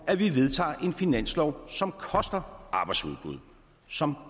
at vi vedtager en finanslov som koster arbejdsudbud som